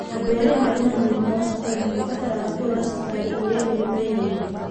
Andũ arĩa marĩ na mũrimũ wa cukari nĩ mabatara kũrora cukari ũrĩa mwĩrĩinĩ.